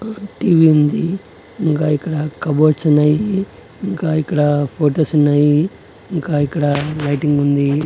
Tea V ఉంది ఇంగా ఇక్కడ కబోర్డ్స్ ఉన్నాయి ఇంకా ఇక్కడ ఫొటోస్ ఉన్నాయి ఇంకా ఇక్కడ లైటింగ్ ఉంది.